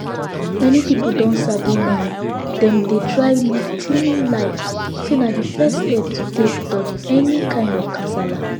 many people don sabi now dem dey try live clean life say na the first step to take dodge any kind of kasala